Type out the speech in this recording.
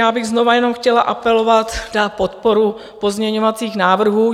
Já bych znovu jenom chtěla apelovat na podporu pozměňovacích návrhů.